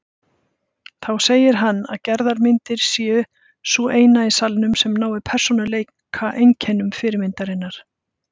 Þá segir hann að Gerðar mynd sé sú eina í salnum sem nái persónueinkennum fyrirmyndarinnar.